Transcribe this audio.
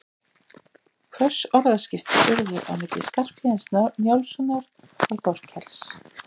Hvöss orðaskipti urðu milli Skarphéðins Njálssonar og Þorkels.